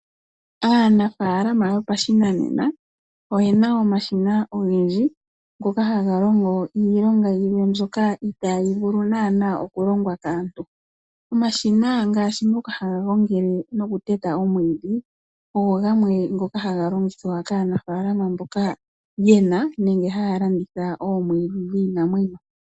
Aanafaalama yopashinanena oye na omashina ogendji ngoka ha ga longo iilonga yilwe mbyoka ita yi vulu naana okulongwa kaantu. Omashina ngaashi ngoka ha ga gongele nokuteta omwiidhi ogo gamwe ngoka ha ga longithwa kaanafalama mboka ye na nenge haya landitha omwiidhi dhiinamwenyo.